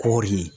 Kɔri